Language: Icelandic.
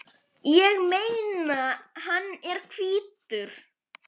Ég meina, hann er hvítur!